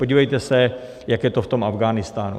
Podívejte se, jak je to v tom Afghánistánu.